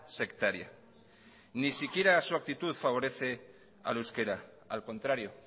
sectaria ni siquiera su actitud favorece al euskera al contrario